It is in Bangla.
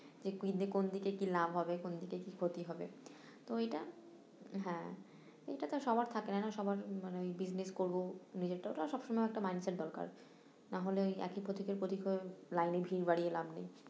কোনদিকে কি লাভ হবে কোনদিকে কি ক্ষতি হবে তো এটা হ্যাঁ এটাতো সবার থাকে না না সবার মানে ওই business করবো, নিজের তো একটা সব সময় mind set দরকার নাহলে ওই একই প্রথিকের প্রথিক হয়ে লাইনে ভিড় বাড়িয়ে লাভ নেই